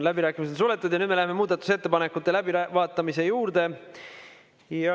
Läbirääkimised on suletud ja nüüd me läheme muudatusettepanekute läbivaatamise juurde.